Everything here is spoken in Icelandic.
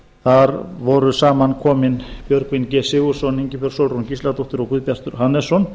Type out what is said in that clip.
þar voru saman komin björgvin g sigurðsson ingibjörg sólrún gísladóttir og guðbjartur hannesson